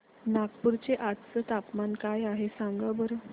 नागपूर चे आज चे तापमान काय आहे सांगा बरं